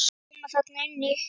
Að koma þarna inn í?